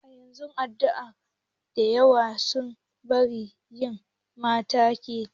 A zamanin yanzu al'adu dayawa sun bar yi ma mata kaciya.